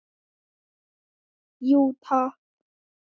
Jú takk!